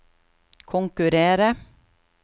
konkurrere